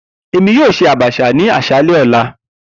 Emi yoo ṣe abacha ni aṣalẹ ọla.